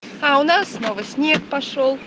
а у нас снова снег пошёл